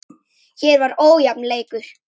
Hér var ójafn leikur.